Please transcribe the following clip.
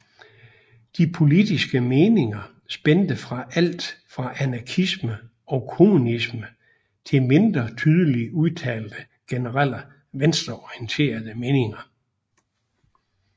De politiske meninger spændte fra alt fra anarkisme og kommunisme til mindre tydeligt udtalte generelle venstreorienterede meninger